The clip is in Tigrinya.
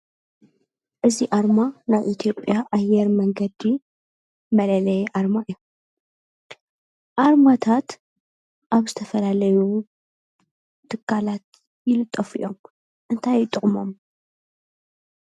እዚ አርማ ናይ ኢትዮጵያ አየር መንገዲ መለለይ አርማ እዩ። አርማታት አብ ዝተፈላለዩ ትካላት ይልጠፉ እዮም ። እንታይ እዩ ጥቅሞም?